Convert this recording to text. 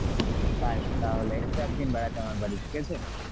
তাহলে এসো একদিন বেড়াতে আমার বাড়ি, ঠিক আছে?